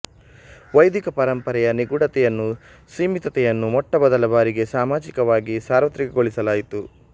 ವೈದಿಕ ಪರಂಪರೆಯ ನಿಗೂಢತೆಯನ್ನು ಸೀಮಿತತೆಯನ್ನು ಮೊಟ್ಟ ಮೊದಲ ಬಾರಿಗೆ ಸಾಮಾಜಿಕವಾಗಿ ಸಾರ್ವತ್ರಿಕಗೊಳಿಸಲಾಯಿತು